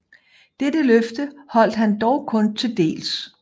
Dette løfte holdt han dog kun til dels